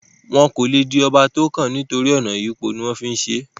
wọn kò le di ọba tó kàn nítorí ọ̀nà ìyípo ní wọ́n ń fí ń ṣe é